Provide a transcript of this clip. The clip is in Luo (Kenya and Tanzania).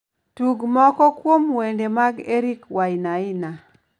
Tug moko kuom wende mag eric wainaina